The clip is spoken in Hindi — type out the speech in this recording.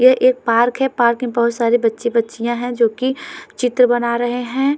ये एक पार्क है पार्क में बोहोत सारे बच्चे-बच्चियां है जो की चित्र बना रहे हैं।